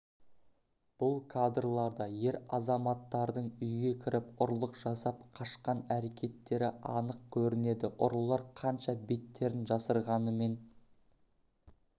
бұл кадрларда ер азаматтардың үйге кіріп ұрлық жасап қашқан әрекеттері анық көрінеді ұрылар қанша беттерін жасырғанымен